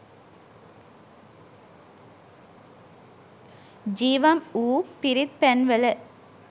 ජීවම් වූ පිරිත් පැන් වල